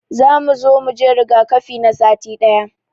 Za mu zo muje rigakafi na sati daya.